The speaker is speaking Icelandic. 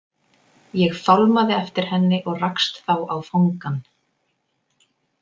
Ég fálmaði eftir henni og rakst þá á fangann.